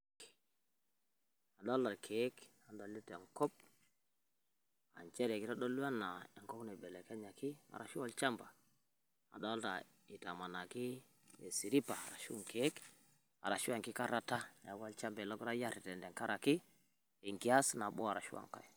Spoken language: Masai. kadolita ilkeek adolita enkop, nchere kitodolu ena enkop naibelekenyaki arashu olshamba, adolita ajo itamanaki isiripa ashu ilkeek arashu enkikarata tenkaraki enkias nabo ashu enkae.